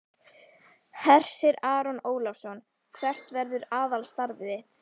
Hersir Aron Ólafsson: Hvert verður aðalstarf þitt?